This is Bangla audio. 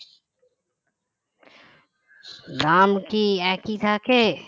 দাম কি একই থাকে